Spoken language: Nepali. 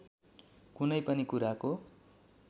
कुनै पनि कुराको